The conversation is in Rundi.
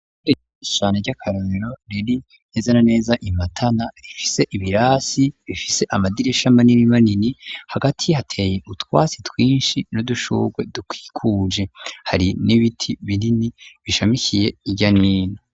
Irishane ry'akarumiro riri neza na neza imatana, ifise ibirasi bifise amadirisha manini manini ,hagati hateye utwasi twinshi n'udushurwe dukwikuje, hari n'ibiti binini, bishamikiye iryanino.